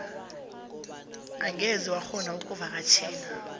ungeze wakghona ukuvakatjhela